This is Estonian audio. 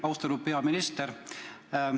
Austatud peaminister!